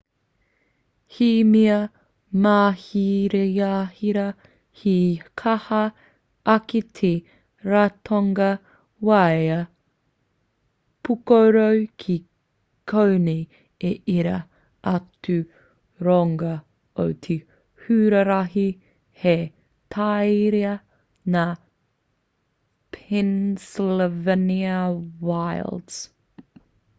he mea māhirahira he kaha ake te ratonga waea pūkoro ki konei i ērā atu roanga o te huarahi hei tauira ngā pennsylvania wilds